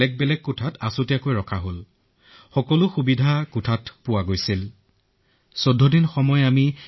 তেওঁলোকে এক ভিন্ন ধৰণৰ পোছাক পিন্ধি আহিছিল সেয়ে গম নাপালো যে নাৰ্ছেই হয় নে ৱাৰ্ড বয়েই হয়